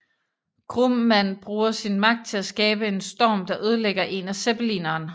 Grumman bruger sin magt til at skabe en storm der ødelægger en af zeppelineren